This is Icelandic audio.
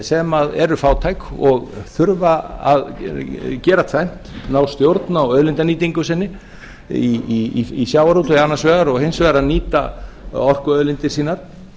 sem eru fátæk og þurfa að gera tvennt ná stjórn á auðlindanýtingu sinni í sjávarútvegi annars vegar og hins vegar að nýta orkuauðlindir sínar